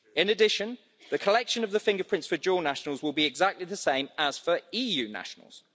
In addition, the collection of the fingerprints for dual nationals will be exactly the same as for EU nationals.